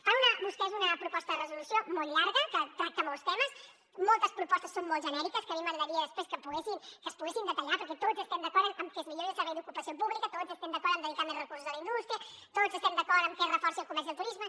fan vostès una proposta de resolució molt llarga que tracta molts temes moltes propostes són molt genèriques que a mi m’agradaria després que es poguessin detallar perquè tots estem d’acord en que es millori el servei d’ocupació pública tots estem d’acord en dedicar més recursos a la indústria tots estem d’acord en que es reforci el comerç i el turisme